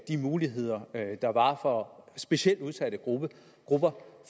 de muligheder der var for specielt udsatte grupper grupper